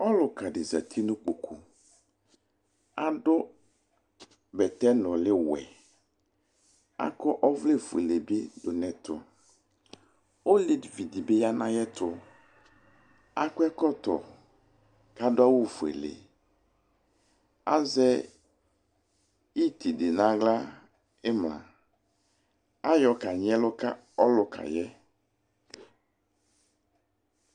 ɔlʋka di zati nʋ ikpɔkʋ, adʋ bɛtɛ nʋli wɛ, akɔ ɔvlɛ ƒʋɛlɛ bi nʋ ɛtʋ, ɔlɛvi dibi yanʋ ayɛtʋ, akɔ ɛkɔtɔ kʋ adʋ awʋ ƒʋɛlɛ, azɛ itsɛdɛ nʋ ala nʋ imla, ayɔ ka nyi ɛlʋ ka ɔlʋkaɛ